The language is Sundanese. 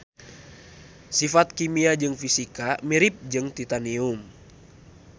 Sifat kimia jeung fisikana mirip jeung titanium.